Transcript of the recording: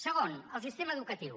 segon el sistema educatiu